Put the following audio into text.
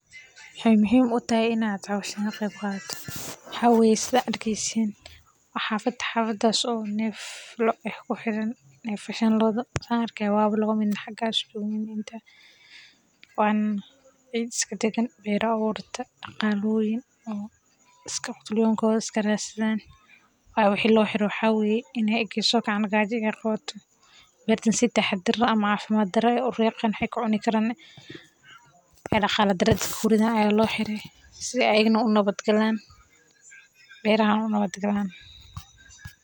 Sida aragteen waa xaafad neef loo xiran yahay. Waa laba: midda hore waa ciid geddan, beero ayaa lagu abuuray, qutul yoonkooda ayay raadsadaan. Waxa loo xiraa maxaa yeelay marka ay sokacaan oo ka soo baxaan beerta, si taxadar leh beerta ayay u ridi karaan, taasina waa caafimaad darro iyo dhibaato dhaqaale. Dadka ayaa loo xiraa si ayaga u nabadgalaan, beerahana u nabadgalaan.